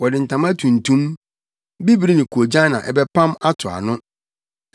Wɔde ntama tuntum, bibiri ne koogyan na ɛbɛpam ato ano.